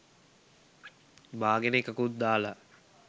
බාගෙන එකකුත් දාලා